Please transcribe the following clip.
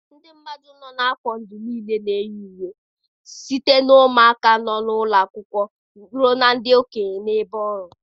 Ndị mmadụ nọ n'afọ ndụ niile na-eyi uwe, site na ụmụaka nọ n'ụlọ akwụkwọ ruo ndị okenye n'ebe ọrụ.